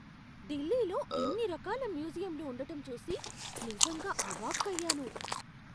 ఢిల్లీలో ఇన్ని రకాల మ్యూజియంలు ఉండటం చూసి నిజంగా అవాక్కయ్యాను.